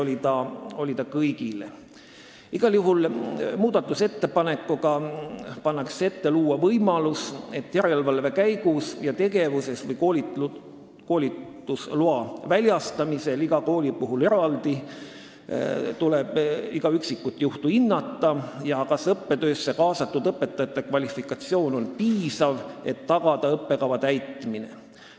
Igal juhul pannakse muudatusettepanekuga ette luua võimalus järelevalve käigus ja tegevus- või koolitusloa väljastamisel iga kooli puhul igal üksikul juhul eraldi hinnata, kas õppetöösse kaasatud õpetajate kvalifikatsioon on piisav, et tagada õppekava täitmine.